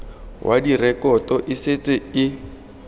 wa direkoto e setse e